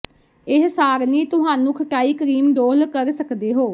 ਇੱਕ ਸਾਰਣੀ ਤੁਹਾਨੂੰ ਖਟਾਈ ਕਰੀਮ ਡੋਲ੍ਹ ਕਰ ਸਕਦੇ ਹੋ